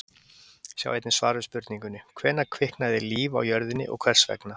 Sjá einnig svar við spurningunni: Hvenær kviknaði líf á jörðinni og hvers vegna?